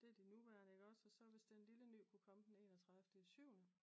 Det er de nuværende iggås og så hvis den lille ny kunne komme den enogtredive i syvende